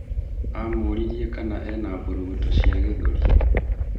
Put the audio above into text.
Amûririe kana ena mbũrũgũtũ cia gĩthũri?